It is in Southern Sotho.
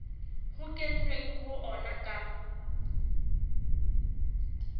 ho kenweng ho ona ka